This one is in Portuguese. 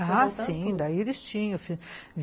Ah, sim, daí eles tinham.